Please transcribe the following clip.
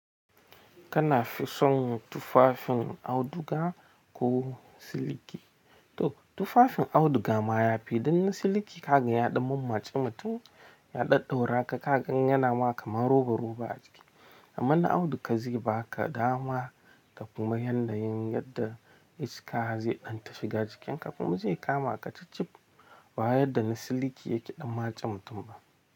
Kanafi son tufafin auduga, ko siliki? To, tufafin auduga ma ya fi don na siliki ka ga ya ɗan mammatse mutum, ya ɗadɗaura ka, ka gan yana ma kamar roba-roba a jiki. Amma na auduga zai ba ka dama, da kuma yanayin yadda iska ze danta shiga jikinka kuma zai kama ka chib-chib, ba yadda na siliki yake ɗan matse mutum ba.